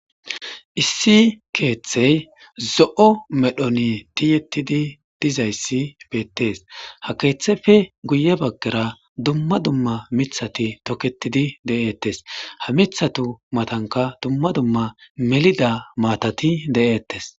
Issi keeththey zo'o medhon tiyetidi dizayssi beettees ha keeththeppe guye baggara dumma dumma miththati toketidi de'etes ha miththatu matankka dumma dumma melida maatati de'ettes.